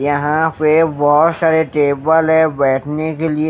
यहां पे बहुत सारे टेबल है बैठने के लिए।